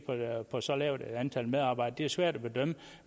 på et så lavt antal medarbejdere svært at bedømme